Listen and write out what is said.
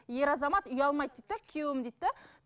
ер азамат ұялмайды дейді де күйеуім дейді де